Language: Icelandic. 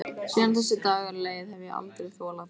Síðan þessi dagur leið hef ég aldrei þolað góðsemi.